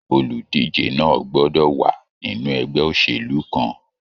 Oludije náà gbọdọ wa nínú ẹgbẹ òṣèlú kan.